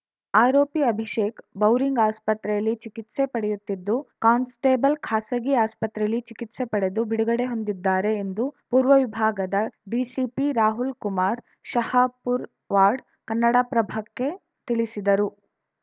ಆರೋಪಿ ಅಭಿಷೇಕ್‌ ಬೌರಿಂಗ್‌ ಆಸ್ಪತ್ರೆಯಲ್ಲಿ ಚಿಕಿತ್ಸೆ ಪಡೆಯುತ್ತಿದ್ದು ಕಾನ್ಸ್‌ಟೇಬಲ್‌ ಖಾಸಗಿ ಆಸ್ಪತ್ರೆಯಲ್ಲಿ ಚಿಕಿತ್ಸೆ ಪಡೆದು ಬಿಡುಗಡೆ ಹೊಂದಿದ್ದಾರೆ ಎಂದು ಪೂರ್ವ ವಿಭಾಗದ ಡಿಸಿಪಿ ರಾಹುಲ್‌ಕುಮಾರ್‌ ಶಹಾಪುರ್ ವಾಡ್‌ ಕನ್ನಡಪ್ರಭಕ್ಕೆ ತಿಳಿಸಿದರು